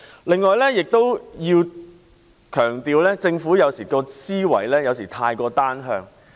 此外，我要強調政府的思維有時過於單向。